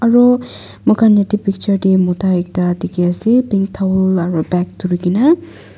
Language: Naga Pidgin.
aro moi khan etu picture dae mota ekta diki asae pink towel aro bag durikina.